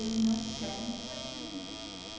Eles não querem apartamento.